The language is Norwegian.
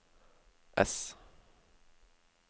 ess